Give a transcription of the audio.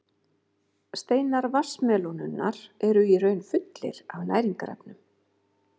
Steinar vatnsmelónunnar eru í raun fullir af næringarefnum.